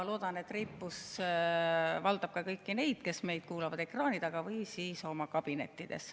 Loodan, et reipus valdab ka kõiki neid, kes meid kuulavad ekraani taga või oma kabinettides.